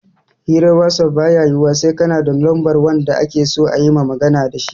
Hirar wasaf baya yiwuwa sai kana da lambar wanda akeso ayima magana dashi